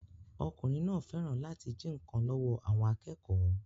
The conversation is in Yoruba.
Ọkùnrin náà fẹ́ràn láti jí nkan lọ́wọ́ àwọn akẹ́kọ̀ọ́